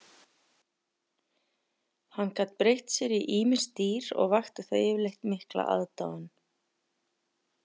Hann gat breytt sér í ýmis dýr og vakti það yfirleitt mikla aðdáun.